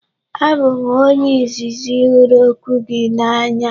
Abụ m onye izizi hụrụ okwu gị n'anya.